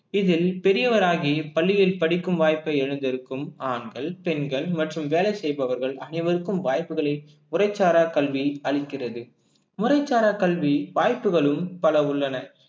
இதில் பெரியவராகி பள்ளியில் படிக்கும் வாய்ப்பை இழந்திருக்கும் ஆண்கள் பெண்கள் மற்றும் வேலை செய்பவர்கள் அனைவருக்கும் வாய்ப்புகளில் முறைச்சாரா கல்வி அளிக்கிறது முறைச்சாரா கல்வி வாய்ப்புகளும் பல உள்ளன